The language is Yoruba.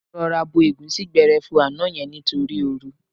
Mo rọra bo ẹ̀gúsí gbẹrẹfu àná yẹn nítorí ooru.